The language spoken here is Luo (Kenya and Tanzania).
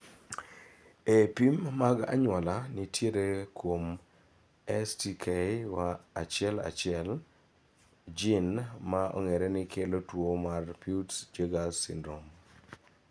Ee, pim mag anyuola nitie kuom STK11, jin ma ong'ere ni kelo tuo mar Peutz Jeghers syndrome.